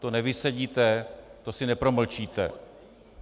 To nevysedíte, to si nepromlčíte.